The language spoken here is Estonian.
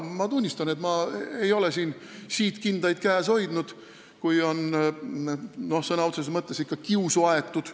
Ma tunnistan, et ma ei ole siin siidkindaid käes hoidnud, kui on ikka sõna otseses mõttes kiusu aetud.